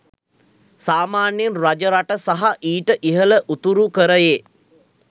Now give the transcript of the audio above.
සාමාන්‍යයෙන් රජරට සහ ඊට ඉහළ උතුරුකරයේ